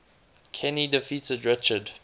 kenny defeated richard